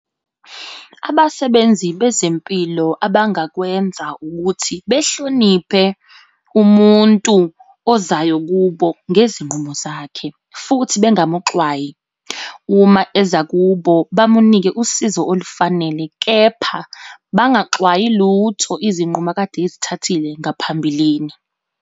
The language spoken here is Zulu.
Abasebenzi bezempilo abangakwenza, ukuthi behloniphe umuntu ozayo kubo ngezinqumo zakhe, futhi bengamuxwayi. Uma eza kubo, bamunike usizo olufanele, kepha bangaxwayi lutho, izinqumo akade ezithathile ngaphambilini.